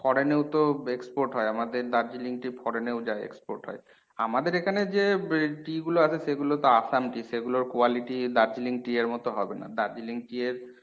foreign এও তো export হয় আমাদের দার্জিলিং tea foreign এও যায় export হয়। আমাদের এখানে বে যে tea গুলো আসে সেগুলো তো আসাম tea সেগুলোর quality দার্জিলিং tea এর মত হবে না দার্জিলিং tea এর